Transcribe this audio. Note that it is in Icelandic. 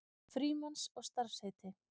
Frímanns og starfsheiti.